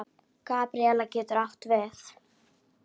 Gabríel getur átt við